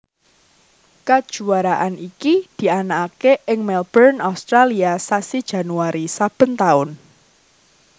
Kajuwaraan iki dianakaké ing Melbourne Australia sasi Januari saben taun